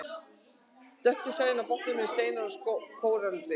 Dökku svæðin á botninum eru steinar og kóralrif.